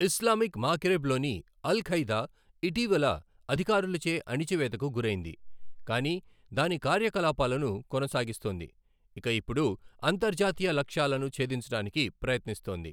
Islamic మాగ్రెబ్లోని Al Qaeda ఇటీవల అధికారులచే అణిచివేతకు గురైంది, కానీ దాని కార్యకలాపాలను కొనసాగిస్తోంది ఇక ఇప్పుడు అంతర్జాతీయ లక్ష్యాలను ఛేదించడానికి ప్రయత్నిస్తోంది.